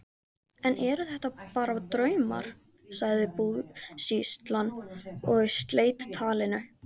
Enn eru þetta bara draumar, sagði búsýslan og sleit talinu.